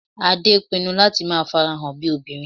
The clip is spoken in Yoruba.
Adé pinnu láti máa farahàn bíi obìnrin